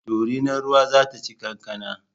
Dorinar ruwa zata ci kankana